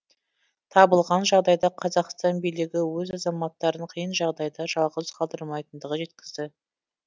табылған жағдайда қазақстан билігі өз азаматтарын қиын жағдайда жалғыз қалдырмайтындығын жеткізді